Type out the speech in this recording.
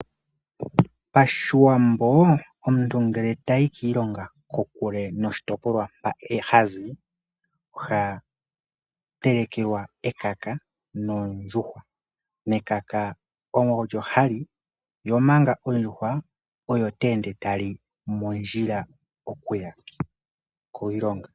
Pashiwambo omuntu ngele tayi kiilonga kokule noshitopolwa mpa hazi, oha telekelwa ekaka nondjuhwa. Ekaka olyo ha li, yo omanga ondjuhwaoyo te ende tali mondjila, okuya kwe kiilonga.